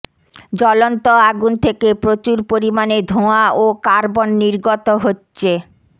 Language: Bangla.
জ্বলন্ত আগুন থেকে প্রচুর পরিমাণে ধোঁয়া ও কার্বন নির্গত হচ্ছে